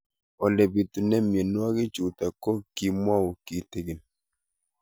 Ole pitune mionwek chutok ko kimwau kitig'�n